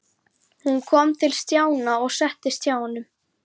Hún kom til Stjána og settist hjá honum.